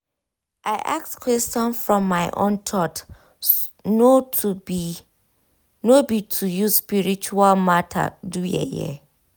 i ask question from my own thought no to be no be to use spiritual matter do yeye